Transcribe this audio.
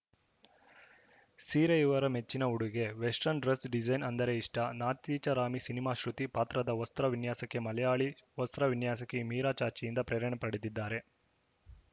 ಸೀರೆ ಇವರ ಮೆಚ್ಚಿನ ಉಡುಗೆ ವೆಸ್ಟರ್ನ್‌ ಡ್ರೆಸ್‌ ಡಿಸೈನ್‌ ಅಂದರೆ ಇಷ್ಟ ನಾತಿಚರಾಮಿ ಸಿನಿಮಾ ಶ್ರುತಿ ಪಾತ್ರದ ವಸ್ತ್ರ ವಿನ್ಯಾಸಕ್ಕೆ ಮಲೆಯಾಳಿ ವಸ್ತ್ರವಿನ್ಯಾಸಕಿ ಮೀರಾ ಚೇಚಿಯಿಂದ ಪ್ರೇರಣೆ ಪಡೆದಿದ್ದಾರೆ